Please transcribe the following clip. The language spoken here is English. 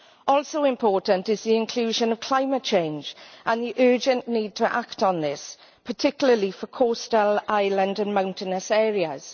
Also important is the inclusion of climate change and the urgent need to act on this, particularly for coastal, island, and mountainous areas.